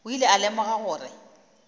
o ile a lemoga gore